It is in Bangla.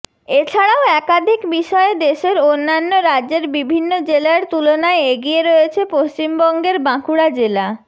এছাড়াও একাধিক বিষয়ে দেশের অন্যান্য রাজ্যের বিভিন্ন জেলার তুলনায় এগিয়ে রয়েছে পশ্চিমবঙ্গের বাঁকুড়া জেলা